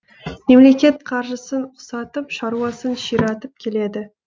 мемлекет қаржысын ұқсатып шаруасын ширатып келеді